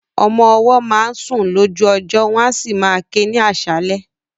Àwọn ọmọ ọwọ́ máa ń sun lójú ọjọ́ wọn a sì máa ké ní aṣálẹ̀.